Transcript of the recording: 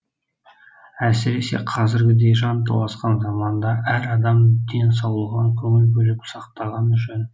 әсіресе қазіргідей жанталасқан заманда әр адам денсаулығына көңіл бөліп сақтағаны жөн